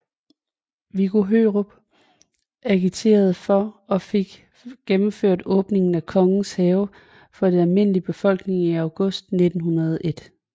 Viggo Hørup agiterede for og fik gennemført åbningen af Kongens Have for den almene befolkning i august 1901